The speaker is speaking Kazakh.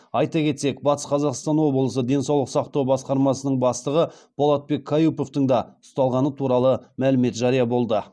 айта кетсек батыс қазақстан облысы денсаулық сақтау басқармасының бастығы болатбек каюповтың да ұсталғаны туралы мәлімет жария болды